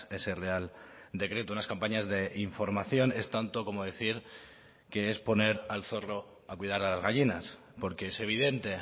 ese real decreto unas campañas de información es tanto como decir que es poner al zorro a cuidar a las gallinas porque es evidente